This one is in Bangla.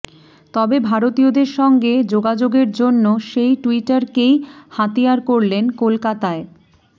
তবে ভারতীয়দের সঙ্গে যোগাযোগের জন্য সেই টুইটারকেই হাতিয়ার করলেন কলকাতায়